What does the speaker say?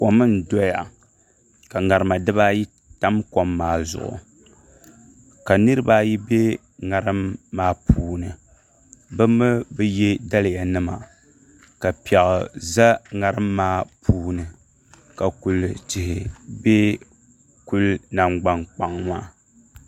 Kom n doya ka ŋarima dibaayi tam kom maa zuɣu ka niraba ayi bɛ ŋarim maa puuni bi mii bi yɛ daliya nima ka piɛɣu ʒɛ ŋarim maa puuni ka kuli tihi bɛ kuli nangbani kpaŋ maa